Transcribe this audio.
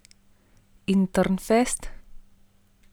In Trnfest?